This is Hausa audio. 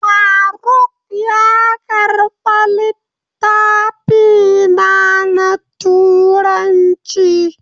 Faruk ya karba littafina na turanci.